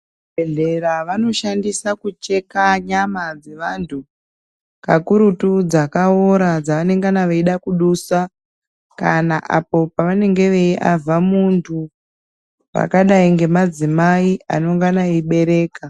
Muzvibhedhlera vanoshandisa kucheka nyama dzevantu, kakurutu dzakawora dzavanengana veyida kudusa, kana apo pavanenge veyiavha muntu, vakadayi ngemadzimai anongana eyibereka.